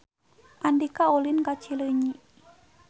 Andika ulin ka Cileunyi